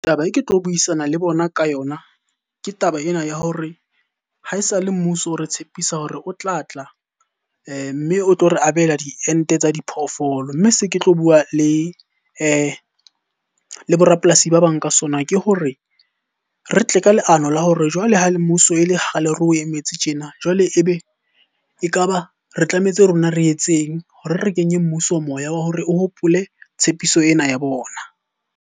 Taba e ke tlo buisana le bona ka yona, ke taba ena ya hore ha esale mmuso o re tshepisa hore o tlatla mme o tlo re abela diente tsa diphoofolo. Mme se ke tlo bua le le bo rapolasi ba bang ka sona. Ke hore re tle ka leano la hore jwale ha le mmuso e le kgale re o emetse tjena, jwale ebe ekaba re tlametse rona re etseng hore re kenye mmuso moya wa hore o hopole tshepiso ena ya bona?